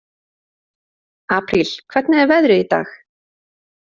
Apríl, hvernig er veðrið í dag?